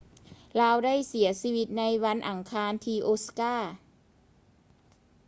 ລາວໄດ້ເສຍຊີວິດໃນມື້ວັນອັງຄານທີ່ ໂອຊາກາ osaka